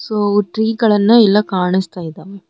So tree ಗಳನ್ನು ಎಲ್ಲಾ ಕಾಣಿಸ್ತಾ ಇದವೆ.